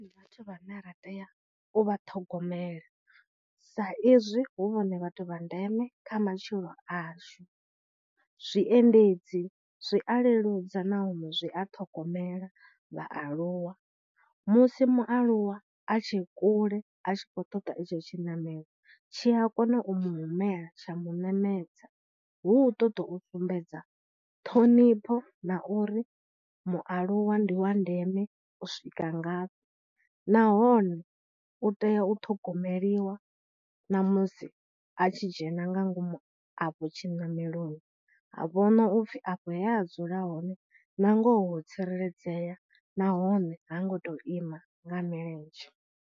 Ndi vhathu vha na ra tea u vha ṱhogomela sa izwi hu vhone vhathu vha ndeme kha matshilo ashu, zwiendedzi zwi a leludza nahone zwi a ṱhogomela vhaaluwa, musi mualuwa a tshe kule a tshi khou ṱoḓa itsho tshinamelo, tshi a kona u mu humela tsha mu ṋamedza, hu u ṱoḓa u sumbedza ṱhonifho na uri mualuwa ndi wa ndeme u swika ngafhi, nahone u tea u ṱhogomeliwa na musi a tshi dzhena nga ngomu afho tshiṋameloni, ha vhona upfhi afho he a dzula hone na ngoho ho tsireledzea, nahone ha ngo tou ima nga milenzhe.